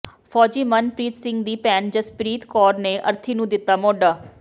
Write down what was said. ਫੌਜੀ ਮਨਪ੍ਰੀਤ ਸਿੰਘ ਦੀ ਭੈਣ ਜਸਪ੍ਰੀਤ ਕੌਰ ਨੇ ਅਰਥੀ ਨੂੰ ਦਿੱਤਾ ਮੋਢਾ